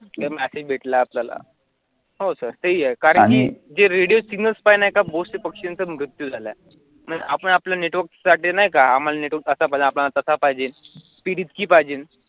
तर message भेटला आपल्याला, हो sir ते ही आहे कारण की जे radio signals आहे नाही का पक्षीचा मृत्यू झालाय आणि आपण आपल्या network साठी नाही का आम्हाला network असा पाहिजे तसा पाहिजे PDswitch पाहिजे